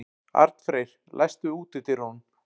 Arnfreyr, læstu útidyrunum.